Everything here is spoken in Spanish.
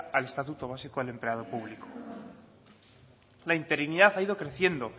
al estatuto básico del empleado público la interinidad ha ido creciendo